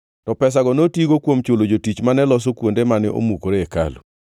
to pesano notigo kuom chulo jotich mane loso kuonde mane omukore e hekalu.